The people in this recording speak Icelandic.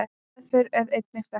Meðferð er engin þekkt.